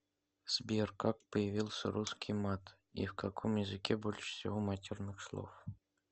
сбер как появился русский мат и в каком языке больше всего матерных слов